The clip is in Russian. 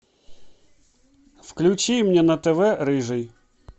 включи мне на тв рыжий